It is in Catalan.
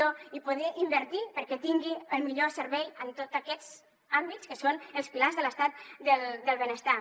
i poder invertir perquè tingui el millor servei en tots aquests àmbits que són els pilars de l’estat del benestar